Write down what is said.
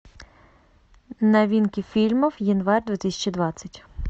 новинки фильмов январь две тысячи двадцать